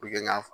N y'a fɔ